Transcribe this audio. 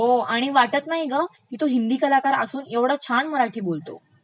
हो आणि वाटत नाही गं, ऐवढा हिंदी कलाकार असून तो ऐवढं छान मराठी बोलतो.